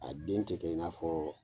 A den tɛ kɛ in'a fɔ